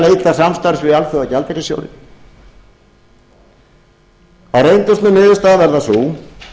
leita samstarfs við alþjóðagjaldeyrissjóðinn þá reyndist niðurstaðan verða sú